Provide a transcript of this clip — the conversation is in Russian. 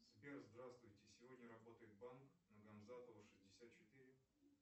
сбер здравствуйте сегодня работает банк на гамзатова шестьдесят четыре